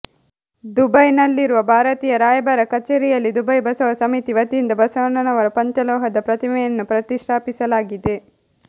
ದುಬೈನಲ್ಲಿರುವ ಭಾರತೀಯ ರಾಯಭಾರ ಕಚೇರಿಯಲ್ಲಿ ದುಬೈ ಬಸವ ಸಮಿತಿ ವತಿಯಿಂದ ಬಸವಣ್ಣನವರ ಪಂಚಲೋಹದ ಪ್ರತಿಮೆಯನ್ನು ಪ್ರತಿಷ್ಠಾಪಿಸಲಾಗಿದೆ